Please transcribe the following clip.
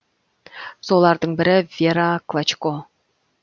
солардың бірі вера клочко